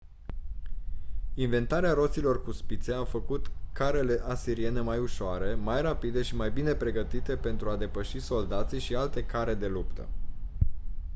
inventarea roților cu spițe a făcut carele asiriene mai ușoare mai rapide și mai bine pregătite pentru a depăși soldații și alte care de luptă